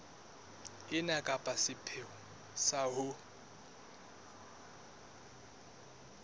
ena ka sepheo sa ho